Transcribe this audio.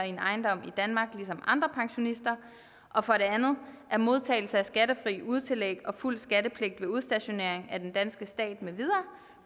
en ejendom i danmark ligesom andre pensionister og for det andet at modtagelse af skattefrie udetillæg og fuld skattepligt ved udstationering af den danske stat med videre